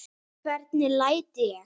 Hvernig læt ég!